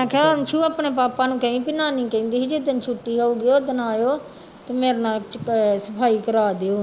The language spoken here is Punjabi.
ਮੈਂ ਕਿਹਾ ਅੰਸੂ ਆਪਣੇ ਪਾਪਾ ਨੂੰ ਕਹੀ ਵੀ ਨਾਨੀ ਕਹਿੰਦੀ ਸੀ ਜਿੱਦਣ ਛੁੱਟੀ ਹੋਊਗੀ ਓਦਣ ਆਇਓ ਤੇ ਮੇਰੇ ਨਾਲ ਅਹ ਸਫ਼ਾਈ ਕਰਵਾ ਦਿਓ।